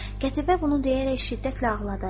Qətibə bunu deyərək şiddətlə ağladı.